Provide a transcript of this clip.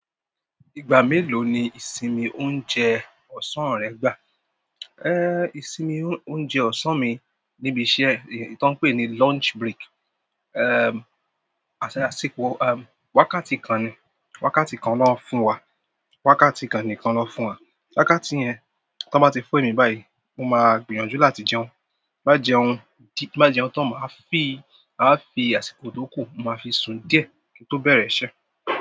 Ìgbà mélòó ni ìsinmi oúnjẹ ọ̀sán rẹ gbà? Ìsinmi oúnjẹ ọ̀sán mi níbi iṣẹ́, èyí tó ń pè ní lunch break. Wákàtí kan ni, wákàtí kan ló ń fún wa, wákàtí kan nìkan ló ń fún wa. Wákàtí yẹn, tó bá ti fún emí báyìí, mo máa gbìyànjú láti jẹun. Ti n ba jẹun tan, ma a fi àsìkò to ku, maa fi sun díẹ̀, ki n to bere iṣẹ́.